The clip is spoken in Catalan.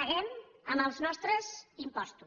paguem amb els nostres impostos